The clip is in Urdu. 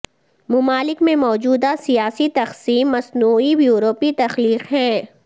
ممالک میں موجودہ سیاسی تقسیم مصنوعی یورپی تخلیق ہیں